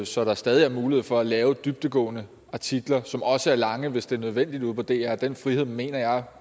så der stadig er mulighed for at lave dybdegående artikler som også er lange hvis det er nødvendigt ude på dr og den frihed mener jeg